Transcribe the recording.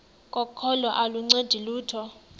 kokholo aluncedi lutho